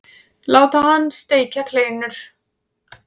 Láta hann steikja kleinur.